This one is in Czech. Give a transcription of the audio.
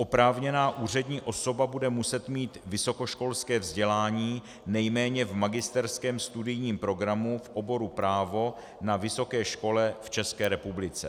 Oprávněná úřední osoba bude muset mít vysokoškolské vzdělání nejméně v magisterském studijním programu v oboru právo na vysoké škole v České republice.